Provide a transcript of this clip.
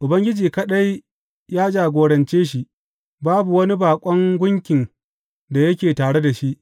Ubangiji kaɗai ya jagorance shi; babu wani baƙon gunkin da yake tare da shi.